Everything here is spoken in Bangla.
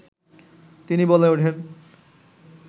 তিনি বলে ওঠেন